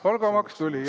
Palgamaks tuli jah.